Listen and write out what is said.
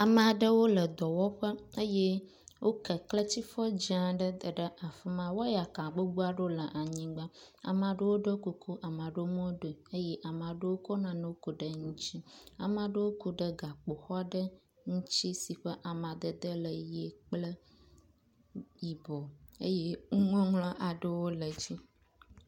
Ame aɖewo le dɔwɔƒe eye woke kletsifɔ dzẽ aɖe da ɖe afi ma. Wɔyaka gbogbo aɖewo le anyigba. Ame aɖewo ɖɔ kuku, ame aɖewo meɖɔe o eye ame aɖewo kɔ nane ku ɖe ŋutsi, ame aɖewo ku ɖe gakpo xɔ ɖe ŋutsi si ƒe amadede le ʋie kple yibɔ eye nuŋɔŋlɔ aɖewo le dzi.